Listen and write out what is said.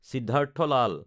Siddharth Lal